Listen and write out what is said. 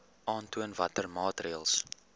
aantoon watter maatreëls